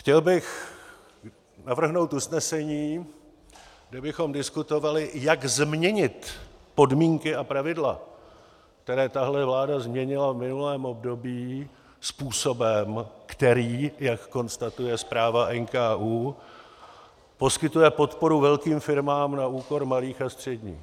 Chtěl bych navrhnout usnesení, kde bychom diskutovali, jak změnit podmínky a pravidla, které tahle vláda změnila v minulém období způsobem, který, jak konstatuje zpráva NKÚ, poskytuje podporu velkým firmám na úkor malých a středních.